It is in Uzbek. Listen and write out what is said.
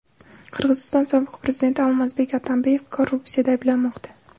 Qirg‘iziston sobiq prezidenti Almazbek Atambeyev korrupsiyada ayblanmoqda.